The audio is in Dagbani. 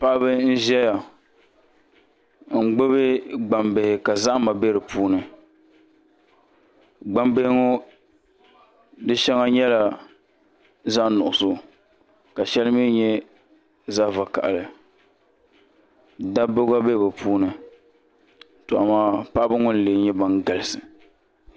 Paɣaba n ʒɛya n gbubi gbambihi ka zahama bɛ di puuni gbambihi ŋɔ di shɛŋa nyɛla zaɣ nuɣso ka shɛli mii nyɛ zaɣ vakaɣali dabba gba bɛ bi puuni to amaa paɣaba ŋɔ n lee nyɛ ban galisi